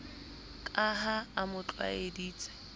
ka ha a mo tlwaeditse